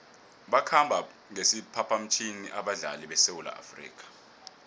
bakhambe ngesiphaphamtjhini abadlali besewula afrika